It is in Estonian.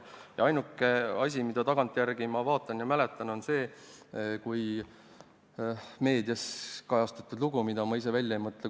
Ainuke asi, mida ma tagantjärele mäletan, on üks meedias kajastatud lugu, mida ma ise välja ei mõtle.